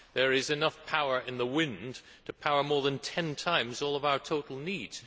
There is enough power in the wind to power more than ten times all of our total needs.